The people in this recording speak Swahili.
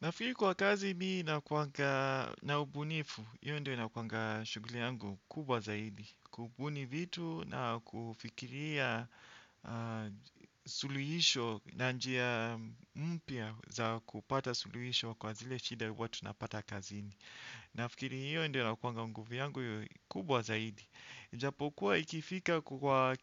Nafeel kwa kazi mi nakuanga na ubunifu io ndio inakuanga shugli yangu kubwa zaidi. Kubuni vitu na kufikiria suluhisho na njia mpya za kupata suluhisho kwa zile shida huwa tunapata kazini. Nifikiri hio ndio inakuanga nguvu yangu kubwa zaidi ijapokuwa ikifika kwa